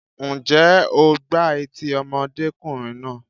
Ǹjẹ́ o gbá etí ọmọdékùnrin náà?